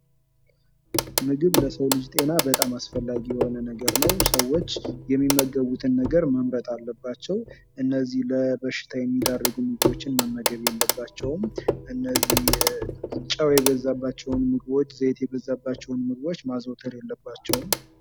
ምግብ ለሰው ልጅ ጤና በጣም አስፈላጊ የሆነ ነገር ነው። ሰዎች የሚመገቡትን ነገር መምረጥ አለባቸው። እነዚህ ለበሽታ የሚደርጉ ምግቦችን መመገብ የለባቸውም። እነዚህ ዘይት የበዛባቸውን ምግቦች ፤ጨው የበዛባቸውን ምግቦች መመገብ የለባቸውም።